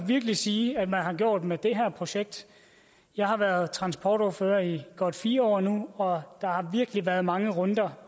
virkelig sige at man har gjort med det her projekt jeg har været transportordfører i godt fire år nu og der har virkelig været mange runder